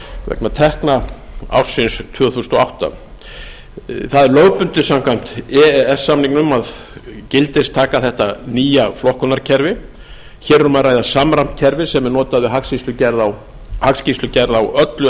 vegna tekna ársins tvö þúsund og átta það er lögbundið samkvæmt e e s samningnum að gildistaka þetta nýja flokkunarkerfi hér er um að ræða samræmt kerfi sem er notað við hagsýslugerð á öllu